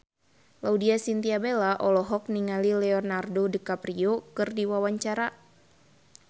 Laudya Chintya Bella olohok ningali Leonardo DiCaprio keur diwawancara